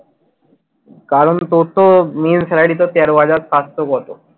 কারণ তোর তো ইয়ে salary তো তেরো হাজার সাতশো কত